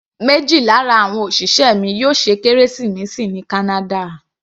Méjì lára àwọn òṣìṣẹ́ mi yóò ṣe kérésìmesì ní kánádà.